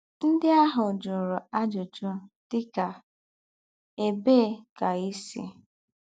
Ndí́ àhụ́ jụ̀rụ̀ àjụ́jụ́ dí̄kà: “Ébèé kà í sị́?”